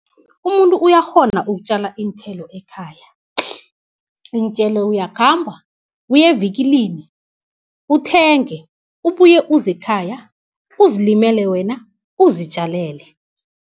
Umuntu uyakghona ukutjala iinthelo ekhaya. jakkal bhee Iintjelo uyakhamba uyevikilini, uthenge ubuye uzekhaya, uzilimele wena uzitjalele.